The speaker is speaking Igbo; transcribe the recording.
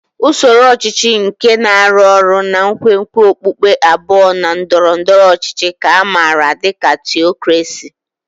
Usoro ọchịchị nke na-arụ ọrụ na nkwenkwe okpukpe abụọ na ndọrọ ndọrọ ọchịchị ka a maara dị ka Theocracy.